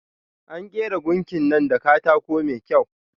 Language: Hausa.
An kera gunkin nan da katako mai kyau.